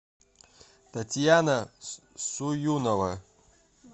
татьяна суюнова